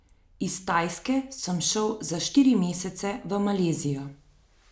Iz Tajske sem šel za štiri mesece v Malezijo.